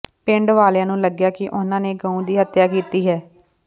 ਪਿੰਡ ਵਾਲਿਆਂ ਨੂੰ ਲੱਗਿਆ ਕਿ ਉਹਨਾਂ ਨੇ ਗਊ ਦੀ ਹਤਿਆ ਕੀਤੀ ਹੈ